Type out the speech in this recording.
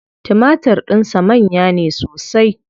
Timatir din sa manya ne sosai.